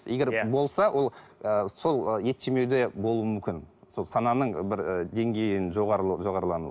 егер болса ол ы сол ет жемеуде болуы мүмкін сол сананың бір ы деңгейінің жоғары болып жоғарылануы